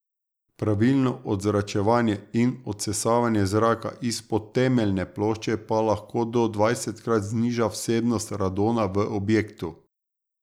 Pravilno odzračevanje in odsesavanje zraka izpod temeljne plošče pa lahko do dvajsetkrat zniža vsebnost radona v objektu.